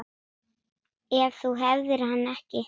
Ef þú hefðir hann ekki.